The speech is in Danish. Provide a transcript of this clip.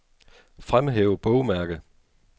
Fremhæv bogmærke.